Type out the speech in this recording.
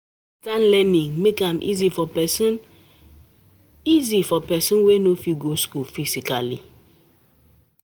Distance learning make am easy for person easy for person wey no fit go school physically.